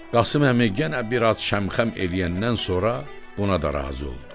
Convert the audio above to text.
Qasım əmi yenə biraz şəmxəm eləyəndən sonra buna da razı oldu.